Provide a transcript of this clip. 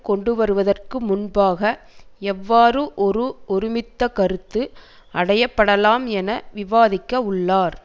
கொண்டுவருவதற்கு முன்பாக எவ்வாறு ஒரு ஒருமித்த கருத்து அடையப்படலாம் என விவாதிக்க உள்ளார்